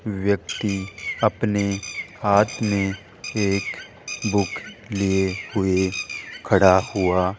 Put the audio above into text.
व्यक्ति अपने हाथ में एक बुक लिए हुए खड़ा हुआ --